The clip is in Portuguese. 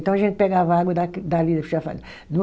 Então a gente pegava água da dali do chafariz.